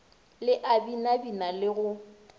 le a binabina le go